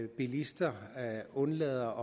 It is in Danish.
bilister undlader